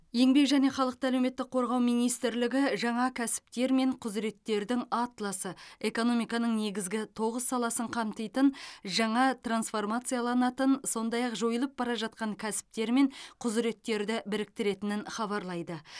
еңбек және халықты әлеуметтік қорғау министрлігі жаңа кәсіптер мен құзыреттердің атласы экономиканың негізгі тоғыз саласын қамтитын жаңа трансформацияланатын сондай ақ жойылып бара жатқан кәсіптер мен құзыреттерді біріктіретінін хабарлайды